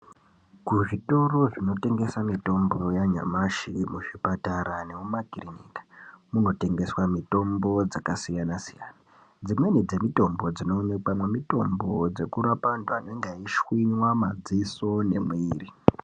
Kuzvitoro zvinotengesa mitombo yanyamashi, kuzvipatara nekumakirinika kunotengeswa mitombo dzakasiyana siyana dzimweni dzemitombo dzinoonekwamo mitombo dzekurapa antu anenge eishwinywa madziso nemiri.